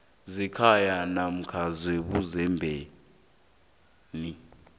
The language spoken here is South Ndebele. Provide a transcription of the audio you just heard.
zekhaya namkha ebuzendeni